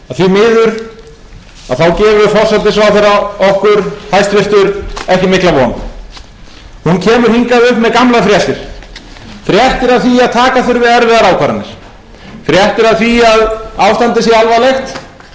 fréttir af því að ástandið sé alvarlegt að atvinnuleysið sé mikið að gengið sé veikt fréttir af því að illa gangi að endurreisa bankana og síðan afskaplega mikil áhersla